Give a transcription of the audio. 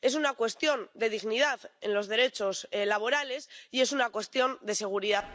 Es una cuestión de dignidad en los derechos laborales y es una cuestión de seguridad.